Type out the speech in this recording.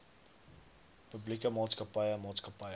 publieke maatskappye maatskappye